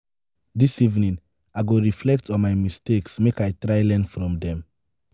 dis evening i go reflect on my mistakes make i try learn from dem.